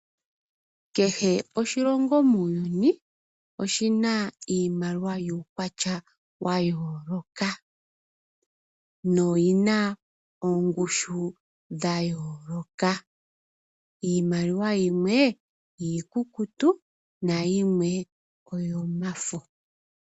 Kehe oshilongo muuyuni oshi na iimaliwa yuukwatya wa yooloka noyi na ongushu ya yooloka. Iimaliwa yimwe iikukutu nayimwe oyomafo.